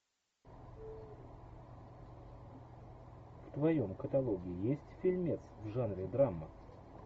в твоем каталоге есть фильмец в жанре драма